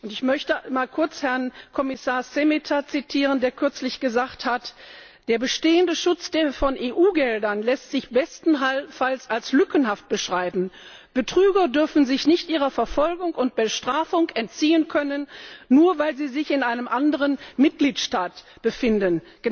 Ich möchte kurz Herrn Kommissar Šemeta zitieren der kürzlich gesagt hat Der bestehende Schutz von EU Geldern lässt sich bestenfalls als lückenhaft beschreiben. Betrüger dürfen sich nicht ihrer Verfolgung und Bestrafung entziehen können, nur weil sie sich in einem anderen Mitgliedstaat befinden.